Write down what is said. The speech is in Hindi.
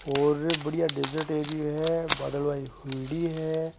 और बढ़िया डेजर्ट एरिया है बादलवाई हुयोड़ी है।